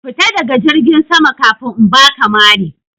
Fita daga jirgin sama kafin in baka mari!